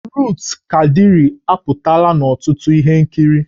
Rut Kadịrị apụtala n'ọtụtụ ihe nkiri